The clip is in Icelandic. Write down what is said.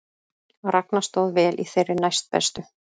Ragna stóð vel í þeirri næstbestu